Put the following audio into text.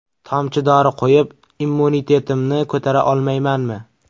Tomchi dori qo‘yib immunitetimni ko‘tara olmaymanmi?